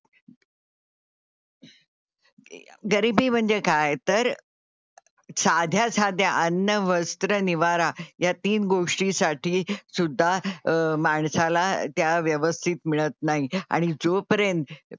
गरीबी म्हणजे काय तर साध्या साध्या अन्न, वस्त्र, निवारा या तीन गोष्टीसाठी सुद्धा माणसाला त्या व्यवस्थित मिळत नाही आणि जोपर्यंत,